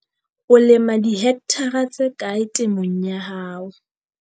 O lema dihekthara tse kae temong ya hao?